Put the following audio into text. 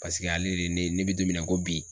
Paseke ale de ye ne ne bɛ don min na i ko bi